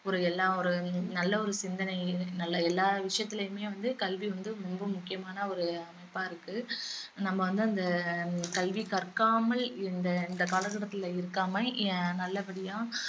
ஒரு எல்லா ஒரு நல்ல ஒரு சிந்தனை நல்ல எல்லா விஷயத்திலயுமே வந்து கல்வி வந்து முழு முக்கியமான ஒரு அமைப்பா இருக்கு நம்ம வந்து அந்த கல்வி கற்காமல் இந்த இந்த கால கட்டத்தில இருக்காம அஹ் நல்லபடியா